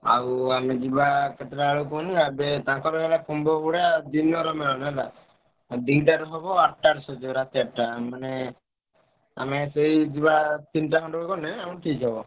ଆଉ ଆମେ ଯିବା କେତେଟା ବେଳେ କୁହନି ଆବେ ତାଙ୍କର ହେଲା ଦିନରେ ମେଳଣ ହେଲା। ଆଉ ଦିଟାରେ ହବ ଆଠଟାରେ ସରିବ ରାତି ଆଠଟା ମାନେ ଆମେ ସେଇ ଯିବା ତିନିଟା ଖଣ୍ଡେ ବେଳୁ ଗଲେ ଆମେ ଠିକ୍ ହବ।